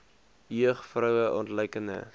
jeug vroue ontluikende